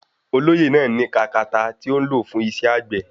Olóyè náà ní katakata tí ó ń lò fún iṣẹ́ àgbẹ̀.